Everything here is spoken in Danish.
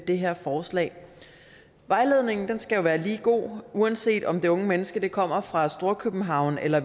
det her forslag vejledningen skal jo være lige god uanset om det unge menneske kommer fra storkøbenhavn eller